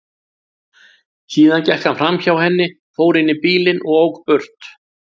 Síðan gekk hann framhjá henni, fór inn í bílinn og ók burt.